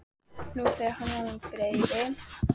Nú þegar hann væri orðinn greifi.